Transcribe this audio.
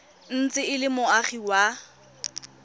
ntse e le moagi wa